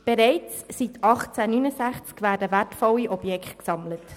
Bereits seit 1869 werden wertvolle Objekte gesammelt.